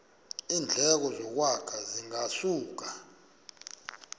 iindleko zokwakha zingasuka